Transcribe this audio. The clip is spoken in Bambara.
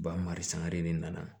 Ba mari sangare n nana